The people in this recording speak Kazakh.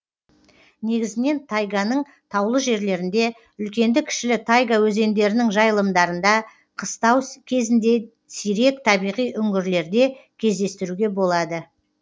негізінен тайганың таулы жерлерінде үлкенді кішілі тайга өзендерінің жайылымдарында қыстау кезінде сирек табиғи үңгірлерде кездестіруге болады